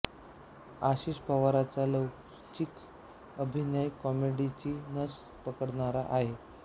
आशिष पवारचा लवचिक अभिनय कॉमेडीची नस पकडणारा आहे